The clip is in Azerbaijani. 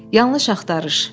Yanlış axtarış.